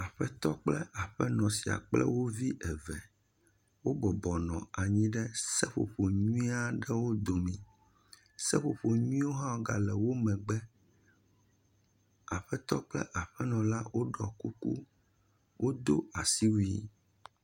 Aƒetɔ kple aƒenɔ sia kple wo vi eve wo bɔbɔnɔ anyi ɖe seƒoƒo nyuiea ɖewo dome, seƒoƒo nyuie wo hãwo ga le wo megbe, aƒetɔ kple aƒenɔa la wo ɖɔ kuku, wo do asiwui wo.